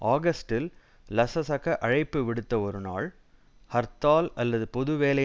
ஆகஸ்ட்டில் லசசக அழைப்புவிடுத்த ஒரு நாள் ஹர்த்தால் அல்லது பொது வேலை